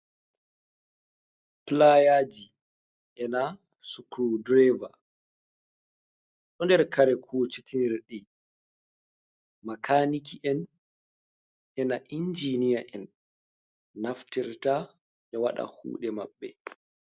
Playaji e na sculdrever, doder kare kudeji makaniki'en ena injiniya'en naftirta ya wada kude mabbe.